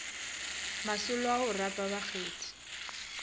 masolo a go rapa bakgethi